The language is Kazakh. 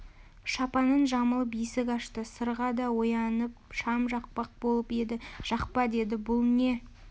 шапанын жамылып есік ашты сырға да оянып шам жақпақ болып еді жақпа деді бұл не